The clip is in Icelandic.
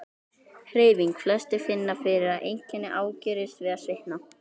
Hreyfing: Flestir finna fyrir að einkenni ágerist við að svitna.